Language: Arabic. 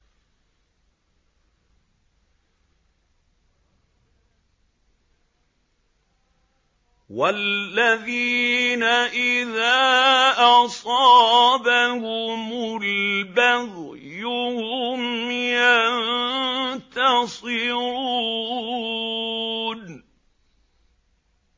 وَالَّذِينَ إِذَا أَصَابَهُمُ الْبَغْيُ هُمْ يَنتَصِرُونَ